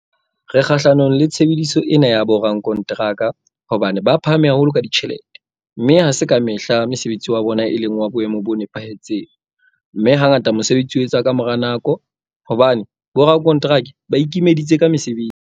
Re kgahlanong le tshebediso ena ya borakonteraka hobane ba phahame haholo ka ditjhelete, mme ha se ka mehla mosebetsi wa bona e leng wa boemo bo nepahetseng, mme hangata mosebetsi o etswa ka mora nako hobane borakonteraka ba ikimeditse ka mosebetsi.